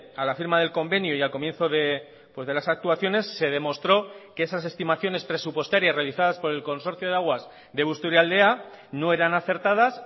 a la firma del convenio y al comienzo de las actuaciones se demostró que esas estimaciones presupuestarias realizadas por el consorcio de aguas de busturialdea no eran acertadas